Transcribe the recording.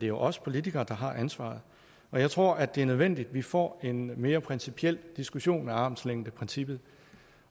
jo os politikere der har ansvaret og jeg tror at det er nødvendigt at vi får en mere principiel diskussion af armslængdeprincippet